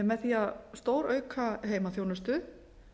með því að stórauka heimaþjónustu